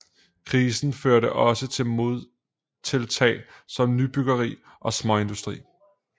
Krisen førte også til modtiltag som nybyggeri og småindustri